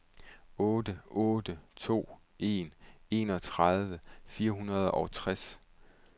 otte otte to en enogtredive fire hundrede og tres